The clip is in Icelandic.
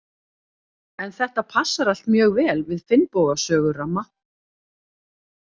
En þetta passar allt mjög vel við Finnboga sögu ramma.